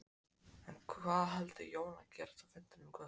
En hvað heldur Jón að gerist á fundinum í kvöld?